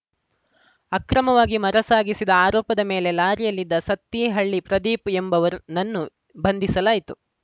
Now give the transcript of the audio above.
ಅಕ್ರಮವಾಗಿ ಮರ ಸಾಗಿಸಿದ ಆರೋಪದ ಮೇಲೆ ಲಾರಿಯಲ್ಲಿದ್ದ ಸತ್ತಿಹಳ್ಳಿ ಪ್ರದೀಪ್‌ ಎಂಬವರ ನನ್ನು ಬಂಧಿಸಲಾಯಿತು